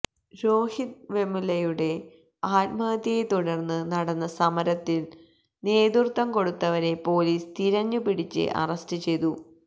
രോഹിത് വെമുലയുടെ ആത്മഹത്യയെ തുടര്ന്ന് നടന്ന സമരത്തിന് നേതൃത്വം കൊടുത്തവരെ പൊലീസ് തിരഞ്ഞുപിടിച്ച് അറസ്റ്റ് ചെയ്തു